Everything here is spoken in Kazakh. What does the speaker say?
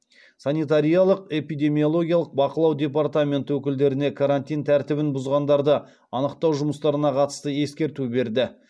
санитариялық эпидемиологиялық бақылау департаменті өкілдеріне карантин тәртібін бұзғандарды анықтау жұмыстарына қатысты ескерту берді